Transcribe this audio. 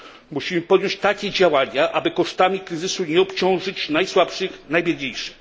Musimy podjąć takie działania, aby kosztami kryzysu nie obciążyć najsłabszych i najbiedniejszych.